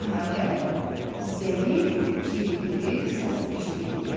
Nəhayət, zəif cıvıltılı səs eşidildi.